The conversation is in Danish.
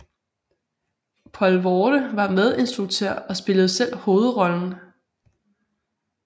Poelvoorde var medinstruktør og spillede selv hovedrollen